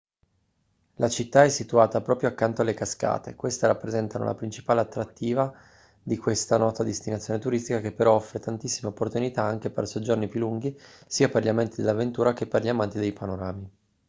la città è situata proprio accanto alle cascate queste rappresentano la principale attrativa di questa nota destinazione turistica che però offre tantissime opportunità anche per soggiorni più lunghi sia per gli amanti dell'avventura che per gli amanti dei panorami